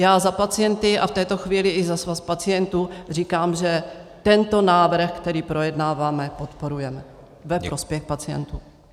Já za pacienty a v této chvíli i za Svaz pacientů říkám, že tento návrh, který projednáváme, podporujeme ve prospěch pacientů.